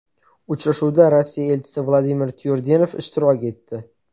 Uchrashuvda Rossiya elchisi Vladimir Tyurdenev ishtirok etdi.